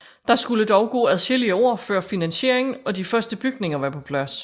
Der skulle dog gå adskillige år før finansieringen og de første bygninger var på plads